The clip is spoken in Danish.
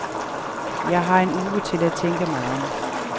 Jeg har en uge til at tænke mig om.